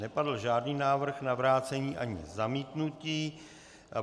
Nepadl žádný návrh na vrácení ani zamítnutí.